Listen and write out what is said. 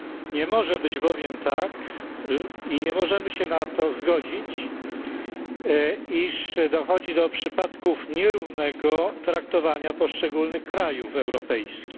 Nie może być bowiem tak, i nie możemy się na to zgodzić, iż dochodzi do przypadków nierównego traktowania poszczególnych krajów europejskich.